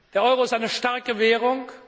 Der Euro ist eine starke Währung.